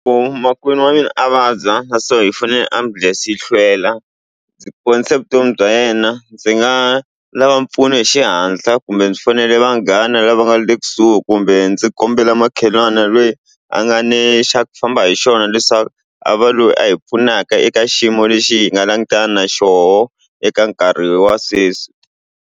Ku makwenu wa mina a vabya na swona hi fanele ambulense yi hlwela ndzi ponisa vutomi bya yena ndzi nga lava mpfuno hi xihatla kumbe byi fanele vanghana lava nga le kusuhi kumbe ndzi kombela makhelwani lweyi a nga ne xa ku famba hi xona leswaku a va loyi a hi pfunaka eka xiyimo lexi hi nga langutana na xoho eka nkarhi wa sweswi.